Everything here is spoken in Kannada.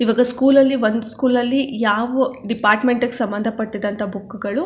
ಈವಾಗ ಸ್ಕೂಲ್ ಲಲ್ಲಿ ಒಂದ್ ಸ್ಕೂಲ್ ಲಲ್ಲಿ ಯಾವ್ ಡಿಪಾರ್ಟ್ಮೆಂಟ್ ಗೆ ಸಮಂದ್ ಪಟ್ಟಿದಂತ ಬುಕ್ ಗಳು --